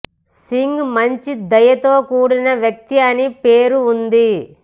సింగ్ మంచి దయతో కూడిన వ్యక్తి అని పేరు ఉంది